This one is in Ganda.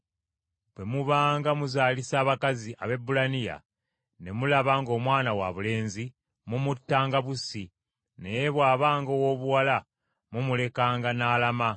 “Bwe mubanga muzaalisa abakazi Abaebbulaniya, ne mulaba ng’omwana wabulenzi, mumuttanga bussi, naye bw’abanga owoobuwala, mumulekanga n’alama.”